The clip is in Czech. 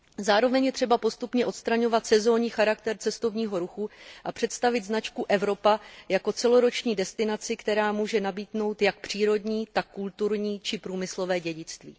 Zároveň je třeba postupně odstraňovat sezónní charakter cestovního ruchu a představit značku Evropa jako celoroční destinaci, která může nabídnout jak přírodní, tak kulturní či průmyslové dědictví.